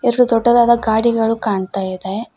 ಎರಡು ದೊಡ್ಡದಾದ ಗಾಡಿಗಳು ಕಾಣ್ತಾ ಇದೆ ಮ್--